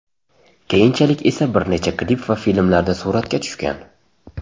Keyinchalik esa bir necha klip va filmlarda suratga tushgan.